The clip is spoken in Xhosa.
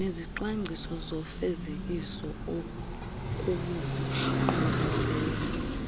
nezicwangciso zofezekiso okusingqongileyo